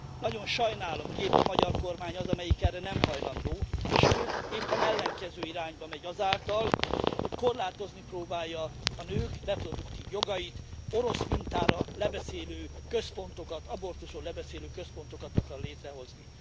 Nagyon sajnálom, hogy épp a magyar kormány az, amelyik erre nem hajlandó, sőt, éppen ellenkező irányba megy azáltal, hogy korlátozni próbálja a nők reproduktív jogait, orosz mintára lebeszélő központokat, abortuszról lebeszélő központokat akar létrehozni.